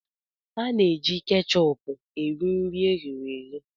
A na-ejikarị kechupú eri nri e ghere eghe